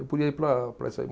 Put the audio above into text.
Eu podia ir para, para isso aí.